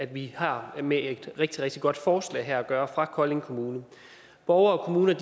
vi har med et rigtig rigtig godt forslag at gøre fra kolding kommune borgere og kommuner